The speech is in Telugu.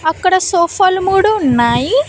అక్కడ సోఫాలు మూడు ఉన్నాయి.